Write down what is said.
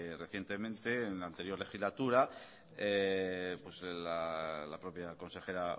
recientemente en la anterior legislatura pues la propia consejera